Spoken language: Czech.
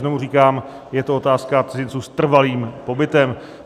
Znovu říkám, je to otázka cizinců s trvalým pobytem.